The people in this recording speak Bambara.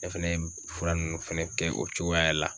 Ne fɛnɛ ye fura nunnu fɛnɛ kɛ o cogoya la.